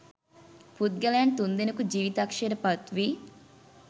පුද්ගලයන් තුන්දෙනෙකු ජිවිතක්ෂයට පත්වී